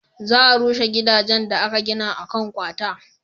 za a rushe gidajen da aka gina a kan kwata